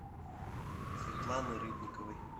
светланы рыбниковой